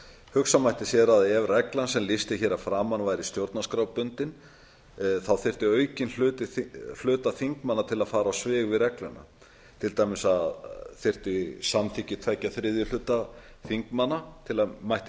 hugsa mætti sér að ef reglan sem lýst er hér að framan væri stjórnarskrárbundin þyrfti aukinn hluta þingmanna til að fara á svig við regluna til dæmis þyrfti samþykki tveggja þriðju hluta þingmanna til að mætti